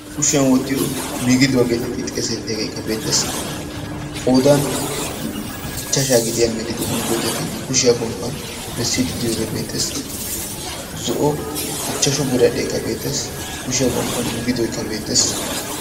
kushiyan wottiyo migiduwaa geeteti xeesettidaageekka beetes qoodan ichchashaa gidiyaa migidoti migidotti kushiyaa gomppan bessi diddiyoogee beetes zo'o ichchashu biradhdheekka beetes kushiyaa gomppan migidoikka beetees